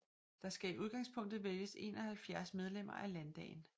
Der skal i udgangspunktet vælges 71 medlemmer af landdagen